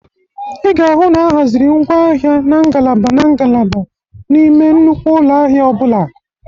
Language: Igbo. Ị ga-ahụ na ahazịrị ngwa ahịa na ngalaba na ngalaba n'ime nnukwu ụlọ ahịa ọ bụla.